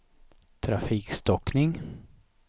trafikstockning